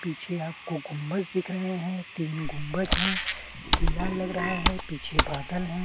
पीछे अब कुकूम्बस दिख रहै हैं तीन गुबबंज हैं किला लग रहा हैं पीछे बादल हैं।